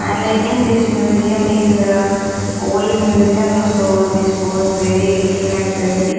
And i think this museum is old museum so this was very looking like dirty.